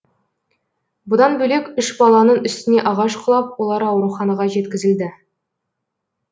бұдан бөлек үш баланың үстіне ағаш құлап олар ауруханаға жеткізілді